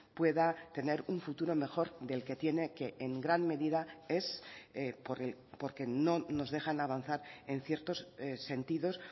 pueda tener un futuro mejor del que tiene que en gran medida es porque no nos dejan avanzar en ciertos sentidos